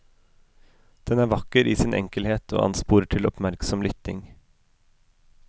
Den er vakker i sin enkelhet og ansporer til oppmerksom lytting.